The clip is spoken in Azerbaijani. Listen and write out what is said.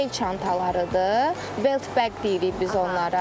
Bel çantalarıdır, belt bag deyirik biz onlara.